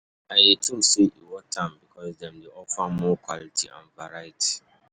i dey think say e worth am, because dem dey offer more quality and variety.